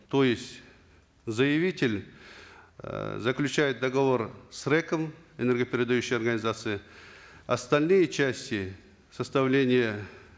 то есть заявитель эээ заключает договор с рэк ом энергопередающей организацией остальные части составления